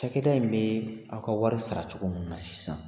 Cakɛda in bɛ aw ka wari sara cogo minnu na sisan